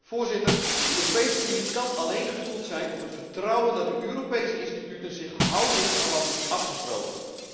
Voorzitter, de Europese Unie kan alleen gestoeld zijn op het vertrouwen dat de Europese instituten zich houden aan wat is afgesproken.